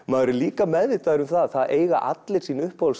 maður er líka meðvitaður um það að það eiga allir sín uppáhalds